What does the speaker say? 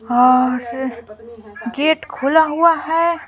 और गेट खुला हुआ है।